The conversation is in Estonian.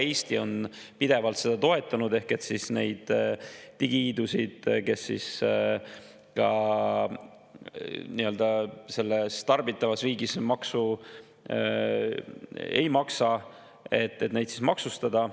Eesti on pidevalt toetanud seda, et neid digihiidusid, kes ka selles tarbivas riigis maksu ei maksa, maksustada.